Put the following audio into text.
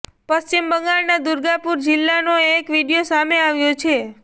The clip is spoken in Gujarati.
પશ્ચિમ બંગાળના દુર્ગાપુર જિલ્લાનો એક વીડિયો સામે આવ્યો છે